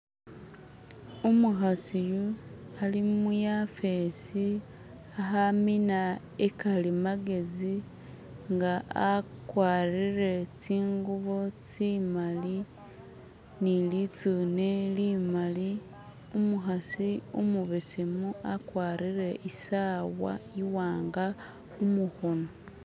Umukhasi yuno ali muyafesi khamina ikali magezi inga akwarile tsingubo tsimali nilitsune limali umukhasi umubesemu akwarile isawa iwanga khumukhono